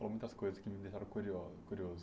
Falou muitas coisas que me deixaram curio curioso.